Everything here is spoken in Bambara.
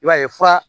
I b'a ye fura